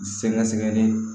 Sɛgɛsɛgɛli